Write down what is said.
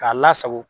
K'a lasago